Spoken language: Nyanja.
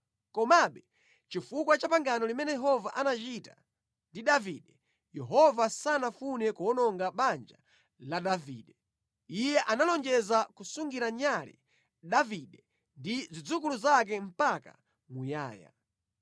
Komabe, chifukwa cha pangano limene Yehova anachita ndi Davide, Yehova sanafune kuwononga banja la Davide. Iye analonjeza kusungira nyale Davide ndi zidzukulu zake mpaka muyaya.